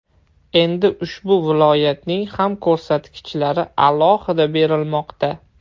Endi ushbu viloyatning ham ko‘rsatkichlari alohida berilmoqda.